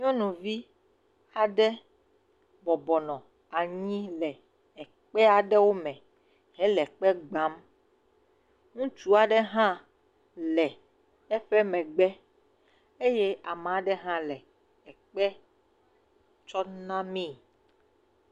Nyɔnuvi aɖe bɔbɔ nɔ anyi le ekpé aɖewo me hele kpe gbam. Ŋutsu aɖe hã le eƒe megbe eye ame aɖe hã le ekpe tsɔm namee.